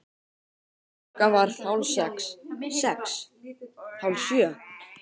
Klukkan varð hálf sex. sex. hálf sjö.